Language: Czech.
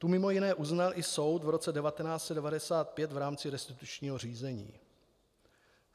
Tu mimo jiné uznal i soud v roce 1995 v rámci restitučního řízení.